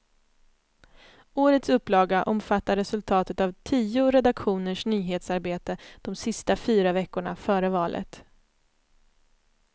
Årets upplaga omfattar resultatet av tio redaktioners nyhetsarbete de sista fyra veckorna före valet.